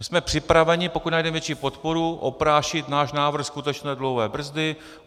My jsme připraveni, pokud najdeme větší podporu, oprášit náš návrh skutečné dluhové brzdy.